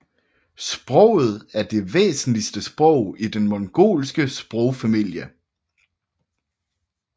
Sproget er det væsentligste sprog i den mongolske sprogfamilie